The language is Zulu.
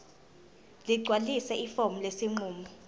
ligcwalise ifomu lesinqumo